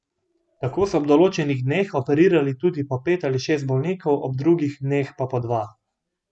Tako so ob določenih dneh operirali tudi po pet ali šest bolnikov, ob drugih dneh pa po dva.